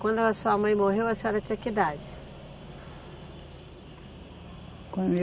Quando a sua mãe morreu, a senhora tinha que idade?